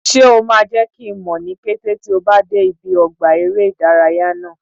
Ṣé o máa jẹ́ kí n mọ̀ ní kété tí o bá dé ibi ọgbà eré ìdárayá náà?